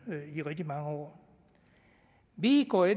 i rigtig mange år vi går i